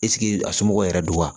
a somɔgɔw yɛrɛ do wa